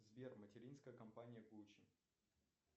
сбер материнская компания гуччи